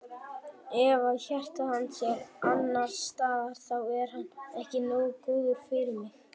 Ef að hjarta hans er annars staðar þá er hann ekki nógu góður fyrir mig.